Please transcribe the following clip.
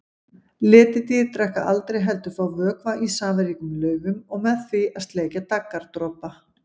Letidýr drekka aldrei heldur fá vökva í safaríkum laufum og með því að sleikja daggardropa.